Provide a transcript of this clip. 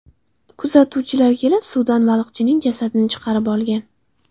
Kuzatuvchilar kelib suvdan baliqchining jasadini chiqarib olgan.